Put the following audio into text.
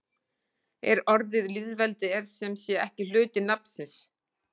En orðið lýðveldi er sem sé ekki hluti nafnsins.